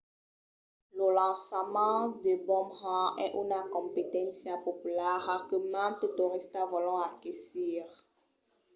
lo lançament de bomerang es una competéncia populara que mantes toristas vòlon aquesir